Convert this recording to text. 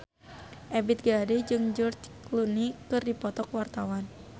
Ebith G. Ade jeung George Clooney keur dipoto ku wartawan